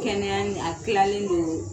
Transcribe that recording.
Kɛnɛya nin a kilalen don